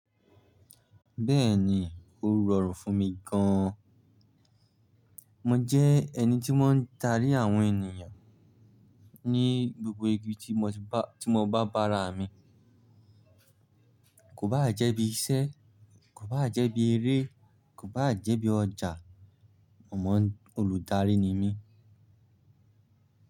Bẹ́ẹ̀ni, ó rọrùn fún mi gan. Mo jẹ́ ẹni tí maa ń darí àwọn ènìyàn ní gbogbo ibi tí mo bá bára mi. Kò bá jẹ́ bí iṣẹ́, kò bá jẹ́ bí eré, kò bá jẹ́ bí ọjà. Mo mọ olùdarí ni mí.